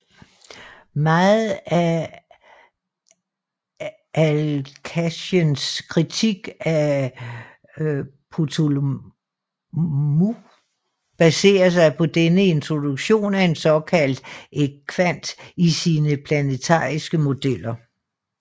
Meget af Alhazens kritik af Ptolemaious baserer sig på dennes introduktion af en såkaldt ekvant i sine planetariske modeller